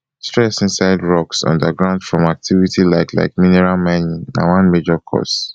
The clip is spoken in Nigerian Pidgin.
stress inside rocks underground from activity like like mineral mining na one major cause